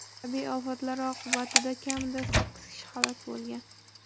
Tabiiy ofatlar oqibatida kamida sakkiz kishi halok bo‘lgan.